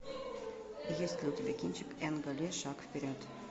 есть ли у тебя кинчик энга ли шаг вперед